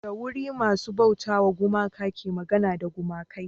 da wuri masu bauta wa gumaka ke magana da gumakai